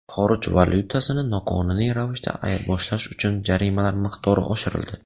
Xorij valyutasini noqonuniy ravishda ayirboshlash uchun jarimalar miqdori oshirildi .